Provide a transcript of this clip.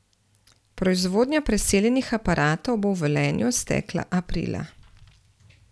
Proizvodnja preseljenih aparatov bo v Velenju stekla aprila.